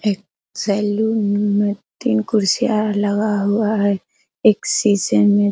एक सैलून में तीन कुर्सियां लगा हुआ है एक शीशे में --